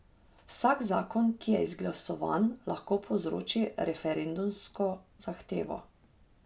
Vsak zakon, ki je izglasovan, lahko povzroči referendumsko zahtevo.